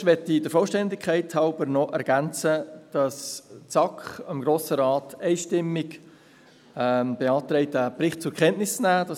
Zuerst möchte ich der Vollständigkeit halber noch ergänzen, dass die SAK dem Grossen Rat einstimmig beantragt, diesen Bericht zur Kenntnis zu nehmen.